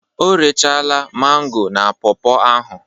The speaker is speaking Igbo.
O rechaala mango na pọọpọ ahụ